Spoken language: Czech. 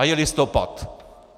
A je listopad!